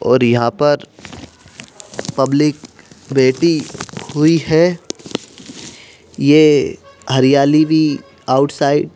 और यहां पर पब्लिक बैठी हुई है ये हरियाली भी आउटसाइड --